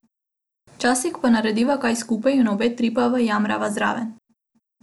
Včasih pa narediva kaj skupaj in obe trpiva in jamrava zraven.